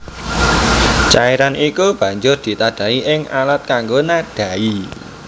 Cairan iku banjur ditadhahi ing alat kanggo nadhahi